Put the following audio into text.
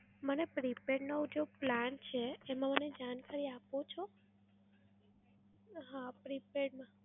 મને prepaid નો જો plan છે, એમાં મને જાણકારી આપો છો? હા prepaid માં.